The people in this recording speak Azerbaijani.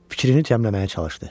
Fikrini cəmləməyə çalışdı.